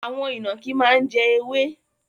Àwon ìnànkí má n jẹ ewé